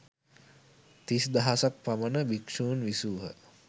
තිස් දහසක් පමණ භික්ෂූන් විසූහ.